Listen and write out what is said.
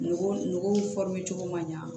Nugu nugu cogo man ɲa